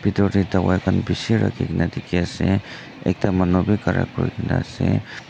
bethor dae dawaii khan beshi rakhikena dekhe ase ekta manu bhi khara kurikena ase.